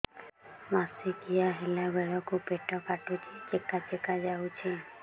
ମାସିକିଆ ହେଲା ବେଳକୁ ପେଟ କାଟୁଚି ଚେକା ଚେକା ଯାଉଚି